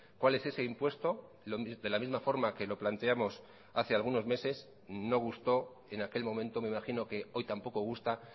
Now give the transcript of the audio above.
cuál es ese impuesto de la misma forma que lo planteamos hace algunos meses no gustó en aquel momento me imagino que hoy tampoco gusta